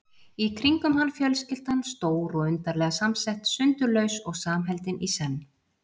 Í kringum hann fjölskyldan, stór og undarlega samsett, sundurlaus og samheldin í senn.